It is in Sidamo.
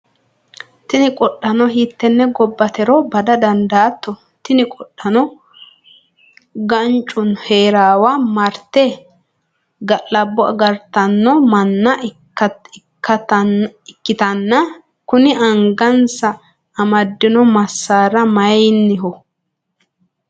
tini qodhaano hiittenne gobbatero bada dandaatto? tini qodhaano gaancu heeriwa marte ga'labbo agartanno manna ikkitanna, kuni angansa amaddino massaari mayiinniho?